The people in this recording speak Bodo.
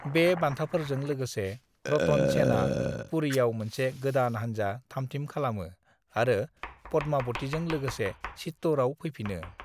"बे बान्थाफोरजों लोगोसे, रतन सेनआ पुरीयाव मोनसे गोदान हानजा थामथिम खालामो आरो पद्मावतिजों लोगोसे चित्तौड़ाव फैफिनो।"